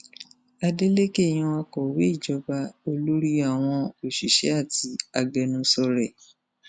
adeleke yan akọwé ìjọba olórí àwọn òṣìṣẹ àti agbẹnusọ rẹ